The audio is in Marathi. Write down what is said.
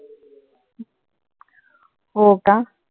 हो का?